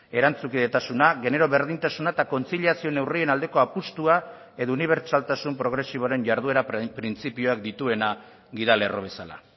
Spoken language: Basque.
erantzukidetasuna genero berdintasuna eta kontziliazio neurrien aldeko apustua edo unibertsaltasun progresiboaren jarduera printzipioak dituena gida lerro bezala